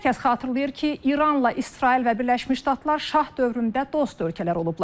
Hər kəs xatırlayır ki, İranla İsrail və Birləşmiş Ştatlar şah dövründə dost ölkələr olublar.